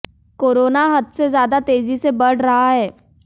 corona हद से ज्यादा तेजी से बढ़ रहा है